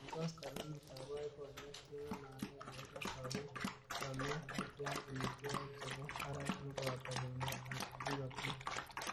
Eng koskolinut ab boiboiyet , keng'alale akobo sabet , chomyet ,ak keam amitwokik chebo barak neboto bendo ab ingok.